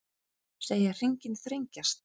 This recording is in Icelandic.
Segja hringinn þrengjast